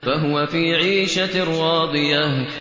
فَهُوَ فِي عِيشَةٍ رَّاضِيَةٍ